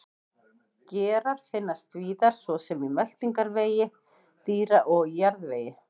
Gerar finnast víðar svo sem í meltingarvegi dýra og í jarðvegi.